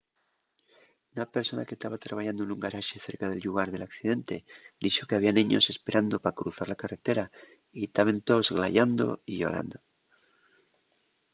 una persona que taba trabayando nun garaxe cerca del llugar del accidente dixo que había neños esperando pa cruzar la carretera y taben toos glayando y llorando